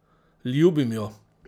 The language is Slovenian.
Ljubim jo!